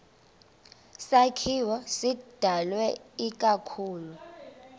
sakhiwo sidalwe ikakhulu